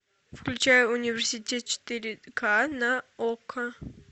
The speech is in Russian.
включай университет четыре ка на окко